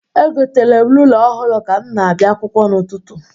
Egotere m rula ọhụru ka m na-abia akwụkwọ n'ụtụtụ.